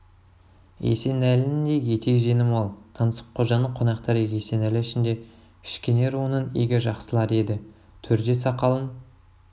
есенәлінің де етек жеңі мол таңсыққожаның қонақтары есенәлі ішінде кішкене руының игі жақсылары еді төрде сақалын